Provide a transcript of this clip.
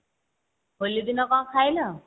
ହୋଲି ଦିନ କଣ ଖାଇଲ?